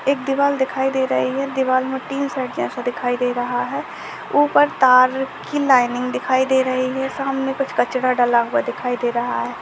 एक दीवाल दिखाई दे रही है दीवार में तीन जैसा दिखायी दे रहा है ऊपर तार की लाइनिंग दिखाई दे रही है सामने कुछ कचरा डाला हुआ दिखायी दे रहा है।